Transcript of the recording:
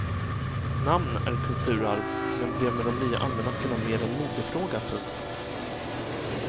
Namn är kulturarv men blev med de nya almanackorna mer en modefråga. punkt